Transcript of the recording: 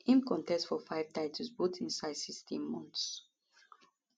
im contest for five title bouts inside 16 months